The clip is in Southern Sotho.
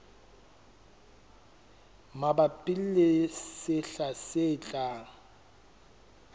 mabapi le sehla se tlang